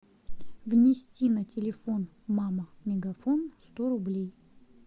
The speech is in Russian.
внести на телефон мама мегафон сто рублей